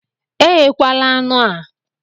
Eghekwala anụ a!